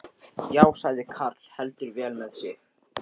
Já, sagði karl heldur vel með sig.